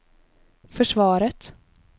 försvaret